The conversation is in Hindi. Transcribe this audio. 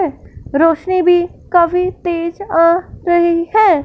रोशनी भी काफी तेज आ रही है।